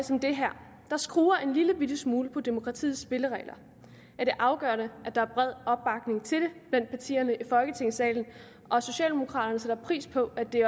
som det her der skruer en lillebitte smule på demokratiets spilleregler er det afgørende at der er bred opbakning til det blandt partierne i folketingssalen og socialdemokraterne sætter pris på at det